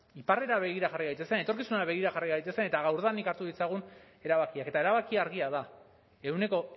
iparrera begira jarri gaitezen etorkizunera begira jarri gaitezen eta gaurdanik hartu ditzagun erabakiak eta erabakia argia da ehuneko